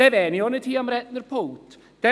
Dann würde ich nicht hier am Rednerpult stehen.